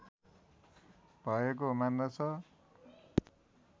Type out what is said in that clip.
भएको मान्दछ